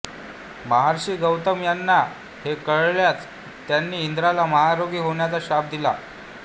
महर्षी गौतम यांना हे कळताच त्यांनी इंद्राला महारोगी होण्याचा शाप दिला